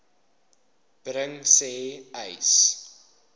bring sê uys